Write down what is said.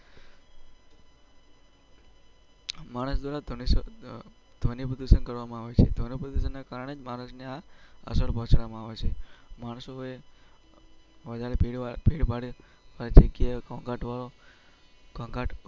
માણસ દ્વારા. કરવામાં આવે છે તેને કારણે જ મને આ અસર પહોચવામાં આવે છે.